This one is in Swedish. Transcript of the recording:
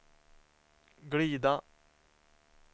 glida